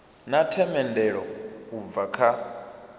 na themendelo u bva kha